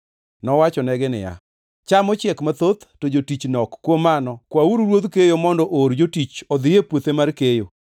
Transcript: Nowachonegi niya, “Cham ochiek mathoth, to jotich nok kuom mano kwauru Ruodh keyo mondo oor jotich odhi e puothe mar keyo.